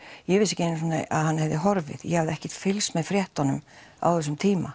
ég vissi ekki einu sinni að hann hafi horfið ég hafði ekkert fylgst með fréttunum á þessum tíma